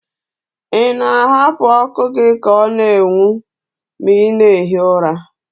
Ị na-ahapụ ọkụ gị ka ọ na-enwu ma ị na-ehi ụra?